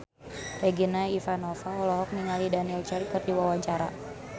Regina Ivanova olohok ningali Daniel Craig keur diwawancara